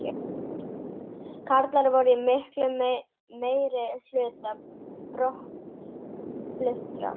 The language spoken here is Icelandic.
Karlar voru í miklum meirihluta brottfluttra